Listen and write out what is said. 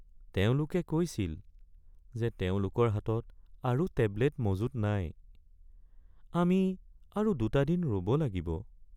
তেওঁলোকে কৈছিল যে তেওঁলোকৰ হাতত আৰু টেবলেট মজুত নাই। আমি আৰু ২টা দিন ৰ'ব লাগিব।